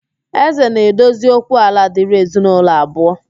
Ézē na-edozi okwu ala dịrị ezinaulọ abụọ